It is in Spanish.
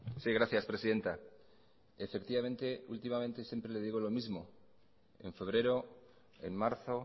sí gracias presidenta efectivamente últimamente siempre le digo lo mismo en febrero en marzo